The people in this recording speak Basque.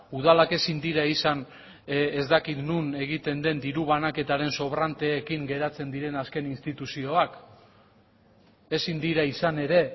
udalak ezin dira izan ez dakit non egiten den diru banaketaren sobranteekin geratzen diren azken instituzioak ezin dira izan ere